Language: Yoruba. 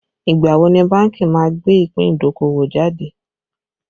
Ìgbà wo ni bánkì má gbé ìpín idokowo jáde